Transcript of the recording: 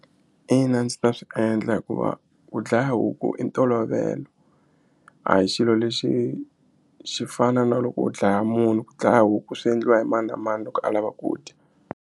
Ina a ndzi ta swi endla hikuva ku dlaya huku i ntolovelo a hi xilo lexi xi fana na loko u dlaya munhu ku dlaya huku swi endliwa hi mani na mani loko a lava ku dya.